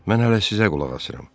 Mən hələ sizə qulaq asıram.